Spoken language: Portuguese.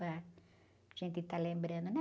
Para, para gente tá lembrando, né?